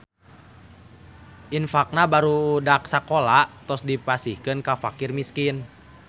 Infaqna barudak sakola tos dipasihkeun ka faqir miskin